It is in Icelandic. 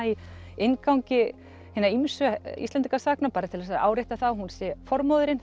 í inngangi hinna ýmsu Íslendingasagna bara til þess að árétta það að hún sé